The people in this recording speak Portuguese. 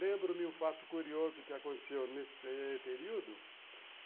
Lembro-me um fato curioso que aconteceu nesse período.